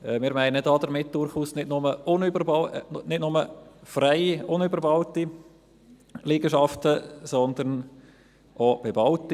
Wir meinen damit durchaus nicht nur freie unbebaute Liegenschaften, sondern auch bebaute.